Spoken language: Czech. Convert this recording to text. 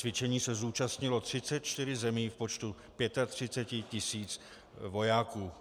Cvičení se zúčastnilo 34 zemí v počtu 35 tisíc vojáků.